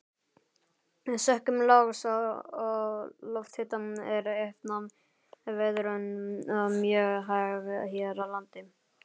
Sökum lágs lofthita er efnaveðrun mjög hæg hér á landi.